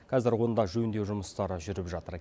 қазір онда жөндеу жұмыстары жүріп жатыр